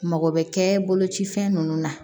Mago bɛ kɛ boloci fɛn ninnu na